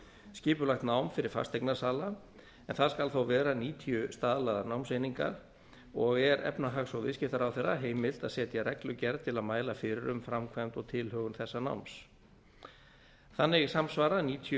skipulagt nám fyrir fasteignasala en það skal þó vera níutíu staðlaðar námseiningar og er efnahags og viðskiptaráðherra heimilt að setja reglugerð til að mæla fyrir um framkvæmd og tilhögun þessa náms þannig samsvara níutíu